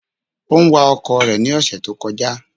Ó ń wa ọkọ̀ rẹ̀ ní ọ̀sẹ̀ tó kọjá.